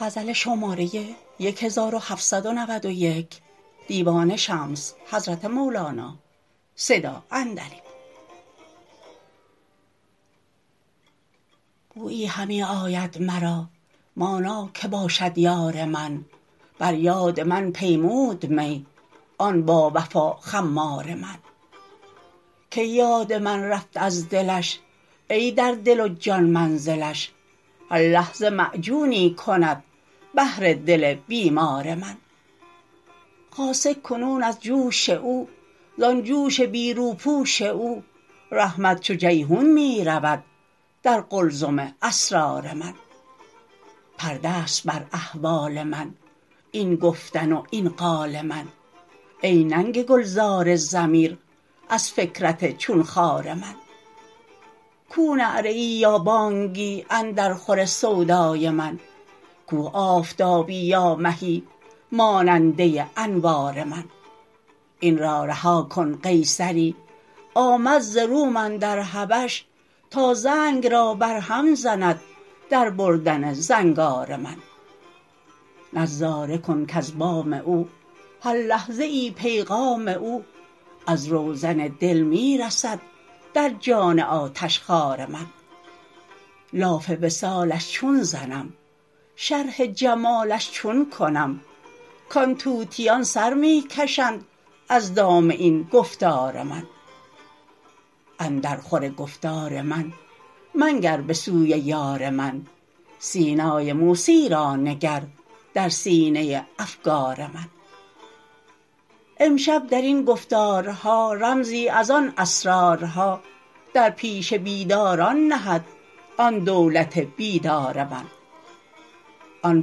بویی همی آید مرا مانا که باشد یار من بر یاد من پیمود می آن باوفا خمار من کی یاد من رفت از دلش ای در دل و جان منزلش هر لحظه معجونی کند بهر دل بیمار من خاصه کنون از جوش او زان جوش بی روپوش او رحمت چو جیحون می رود در قلزم اسرار من پرده ست بر احوال من این گفتن و این قال من ای ننگ گلزار ضمیر از فکرت چون خار من کو نعره ای یا بانگی اندر خور سودای من کو آفتابی یا مهی ماننده انوار من این را رها کن قیصری آمد ز روم اندر حبش تا زنگ را برهم زند در بردن زنگار من نظاره کن کز بام او هر لحظه ای پیغام او از روزن دل می رسد در جان آتشخوار من لاف وصالش چون زنم شرح جمالش چون کنم کان طوطیان سر می کشند از دام این گفتار من اندرخور گفتار من منگر به سوی یار من سینای موسی را نگر در سینه افگار من امشب در این گفتارها رمزی از آن اسرارها در پیش بیداران نهد آن دولت بیدار من آن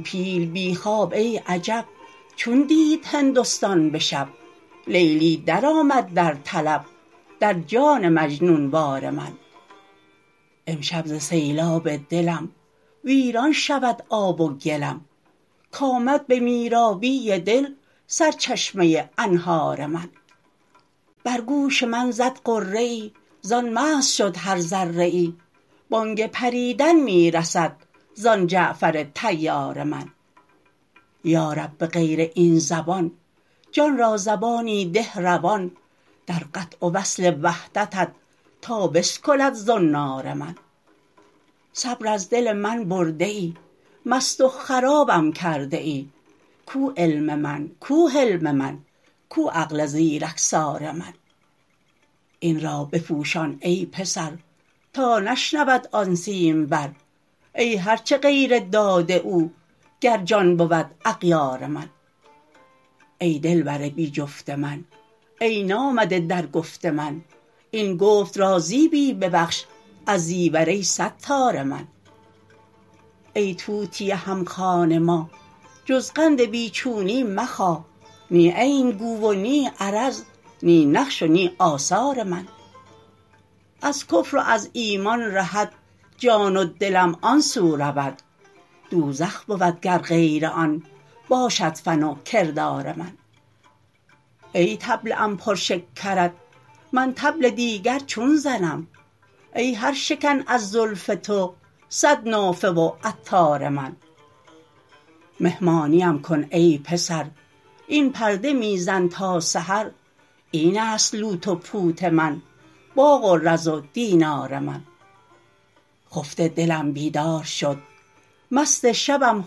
پیل بی خواب ای عجب چون دید هندستان به شب لیلی درآمد در طلب در جان مجنون وار من امشب ز سیلاب دلم ویران شود آب و گلم کآمد به میرابی دل سرچشمه انهار من بر گوش من زد غره ای زان مست شد هر ذره ای بانگ پریدن می رسد زان جعفر طیار من یا رب به غیر این زبان جان را زبانی ده روان در قطع و وصل وحدتت تا بسکلد زنار من صبر از دل من برده ای مست و خرابم کرده ای کو علم من کو حلم من کو عقل زیرکسار من این را بپوشان ای پسر تا نشنود آن سیمبر ای هر چه غیر داد او گر جان بود اغیار من ای دلبر بی جفت من ای نامده در گفت من این گفت را زیبی ببخش از زیور ای ستار من ای طوطی هم خوان ما جز قند بی چونی مخا نی عین گو و نی عرض نی نقش و نی آثار من از کفر و از ایمان رهد جان و دلم آن سو رود دوزخ بود گر غیر آن باشد فن و کردار من ای طبله ام پر شکرت من طبل دیگر چون زنم ای هر شکن از زلف تو صد نافه و عطار من مهمانیم کن ای پسر این پرده می زن تا سحر این است لوت و پوت من باغ و رز و دینار من خفته دلم بیدار شد مست شبم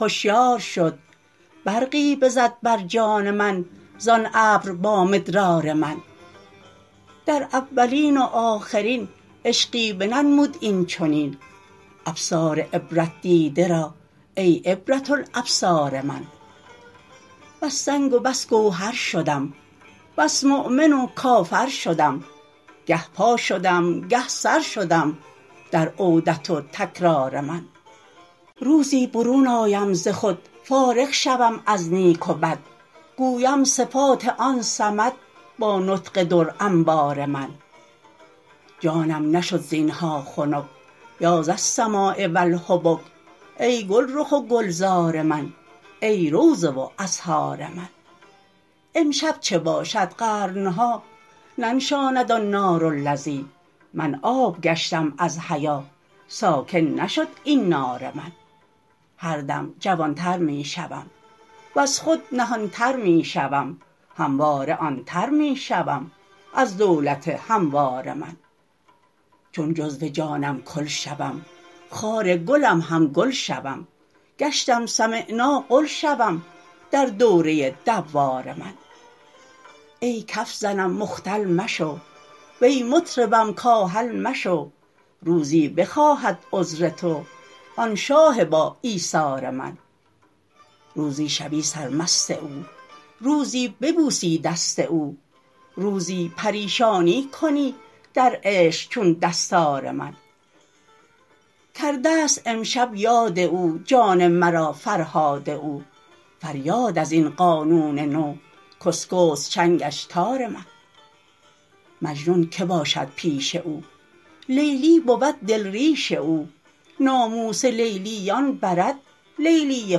هشیار شد برقی بزد بر جان من زان ابر با مدرار من در اولین و آخرین عشقی بننمود این چنین ابصار عبرت دیده را ای عبرة الابصار من بس سنگ و بس گوهر شدم بس مؤمن و کافر شدم گه پا شدم گه سر شدم در عودت و تکرار من روزی برون آیم ز خود فارغ شوم از نیک و بد گویم صفات آن صمد با نطق در انبار من جانم نشد زین ها خنک یا ذاالسماء و الحبک ای گلرخ و گلزار من ای روضه و ازهار من امشب چه باشد قرن ها ننشاند آن نار و لظی من آب گشتم از حیا ساکن نشد این نار من هر دم جوان تر می شوم وز خود نهان تر می شوم همواره آن تر می شوم از دولت هموار من چون جزو جانم کل شوم خار گلم هم گل شوم گشتم سمعنا قل شوم در دوره دوار من ای کف زنم مختل مشو وی مطربم کاهل مشو روزی بخواهد عذر تو آن شاه باایثار من روزی شوی سرمست او روزی ببوسی دست او روزی پریشانی کنی در عشق چون دستار من کرده ست امشب یاد او جان مرا فرهاد او فریاد از این قانون نو کاشکست چنگش تار من مجنون که باشد پیش او لیلی بود دل ریش او ناموس لیلییان برد لیلی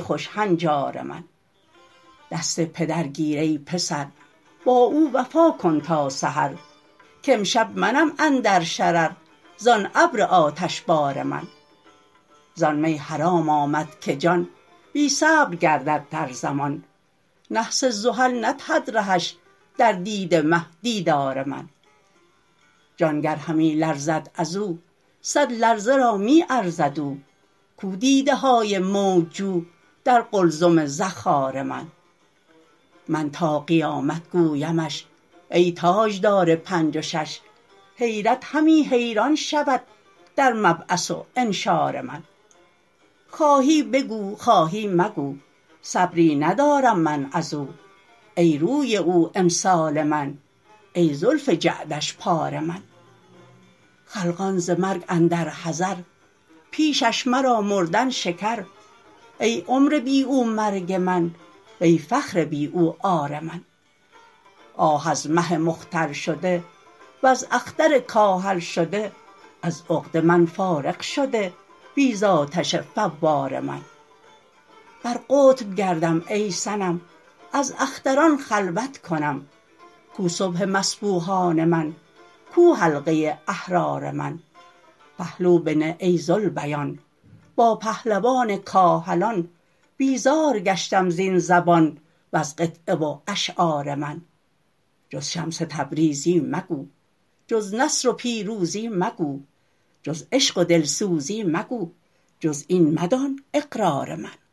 خوش هنجار من دست پدر گیر ای پسر با او وفا کن تا سحر کامشب منم اندر شرر زان ابر آتشبار من زان می حرام آمد که جان بی صبر گردد در زمان نحس زحل ندهد رهش در دید مه دیدار من جان گر همی لرزد از او صد لرزه را می ارزد او کو دیده های موج جو در قلزم زخار من من تا قیامت گویمش ای تاجدار پنج و شـش حیرت همی حیران شود در مبعث و انشار من خواهی بگو خواهی مگو صبری ندارم من از او ای روی او امسال من ای زلف جعدش پار من خلقان ز مرگ اندر حذر پیشش مرا مردن شکر ای عمر بی او مرگ من وی فخر بی او عار من آه از مه مختل شده وز اختر کاهل شده از عقده من فارغ شده بی دانش فوار من بر قطب گردم ای صنم از اختران خلوت کنم کو صبح مصبوحان من کو حلقه احرار من پهلو بنه ای ذوالبیان با پهلوان کاهلان بیزار گشتم زین زبان وز قطعه و اشعار من جز شمس تبریزی مگو جز نصر و پیروزی مگو جز عشق و دلسوزی مگو جز این مدان اقرار من